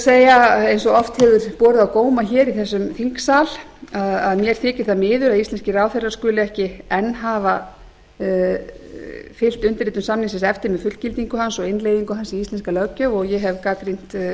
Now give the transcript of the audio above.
segja eins og oft hefur borið á góma hér í þessum þingsal að mér þykir það miður að íslenskir ráðherrar skuli ekki enn hafa fylgt undirritun samningsins eftir með fullgildingu hans og innleiðingu hans í íslenska löggjöf og ég hef gagnrýnt